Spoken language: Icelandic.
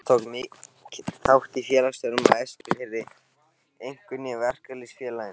Faðir minn tók mikinn þátt í félagsstörfum á Eskifirði, einkum í Verkalýðs- félaginu.